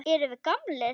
Erum við gamlir?